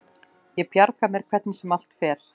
Ég bjarga mér hvernig sem allt fer.